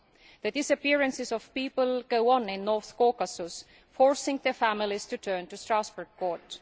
The disappearances of people go on in North Caucasus, forcing their families to turn to the Strasbourg court.